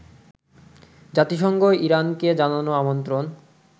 জাতিসংঘ ইরানকে জানানো আমন্ত্রণ